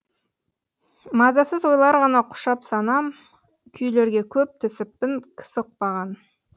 мазасыз ойлар ғана құшап санам күйлерге көп түсіппін кісі ұқпаған